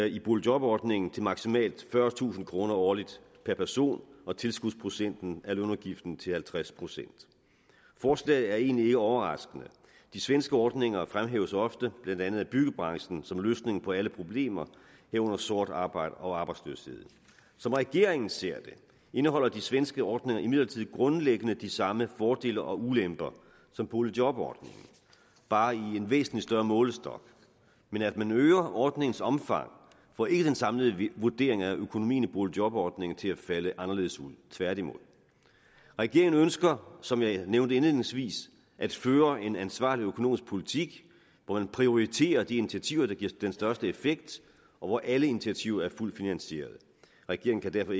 i boligjobordningen til maksimalt fyrretusind kroner årligt per person og tilskudsprocenten af lønudgiften til halvtreds procent forslaget er egentlig ikke overraskende de svenske ordninger fremhæves ofte blandt andet af byggebranchen som løsningen på alle problemer herunder sort arbejde og arbejdsløshed som regeringen ser det indeholder de svenske ordninger imidlertid grundlæggende de samme fordele og ulemper som boligjobordningen bare i en væsentlig større målestok men at man øger ordningens omfang får ikke den samlede vurdering af økonomien i boligjobordningen til at falde anderledes ud tværtimod regeringen ønsker som jeg nævnte indledningsvis at føre en ansvarlig økonomisk politik hvor man prioriterer de initiativer der giver den største effekt og hvor alle initiativer er fuldt finansierede regeringen kan derfor